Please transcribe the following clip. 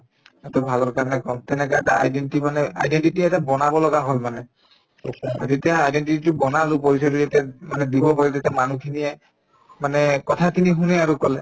সিহঁতৰ ভালৰ কাৰণে কম তেনেকুৱা এটা identity মানে identity এটা বনাব লগা হল মানে যেতিয়া identity তো বনালো মানে দিব ভয় তেতিয়া মানুহখিনিয়ে মানে কথাখিনি শুনে আৰু কলে